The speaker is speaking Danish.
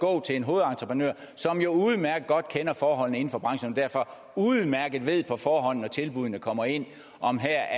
gå til en hovedentreprenør som jo udmærket godt kender forholdene inden for branchen og derfor udmærket ved på forhånd når tilbuddene kommer ind om der